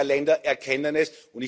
immer mehr Länder erkennen es.